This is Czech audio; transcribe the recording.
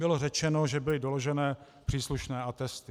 Bylo řečeno, že byly doložené příslušné atesty.